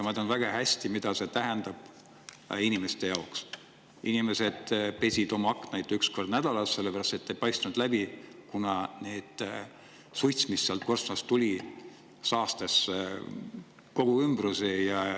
Ma tean väga hästi, mida tähendab inimeste jaoks: inimesed pesid oma aknaid üks kord nädalas, sellepärast et need ei paistnud läbi, kuna suits, mis sealt korstnast tuli, saastas kogu ümbruse.